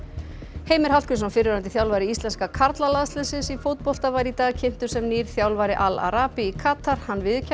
Heimir Hallgrímsson fyrrverandi þjálfari íslenska karlalandsliðsins í fótbolta var í dag kynntur sem nýr þjálfari Al í Katar hann viðurkennir